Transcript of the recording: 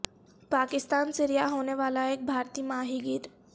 پاکستان سے رہا ہونے والا ایک بھارتی ماہی گیر